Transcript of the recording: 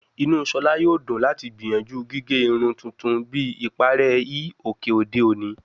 Inu Shola yoo dun lati gbiyanju gige irun tuntun bi ipare hi oke ode oni